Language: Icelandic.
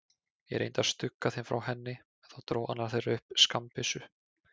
Ég reyndi að stugga þeim frá henni, en þá dró annar þeirra upp skammbyssu.